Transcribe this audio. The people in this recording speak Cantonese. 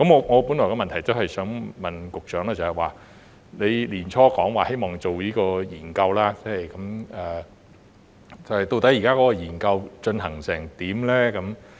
我本來的補充質詢是想問局長，他在年初時表示希望進行相關研究，究竟這項研究現時的進展為何？